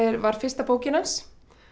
var fyrsta bókin hans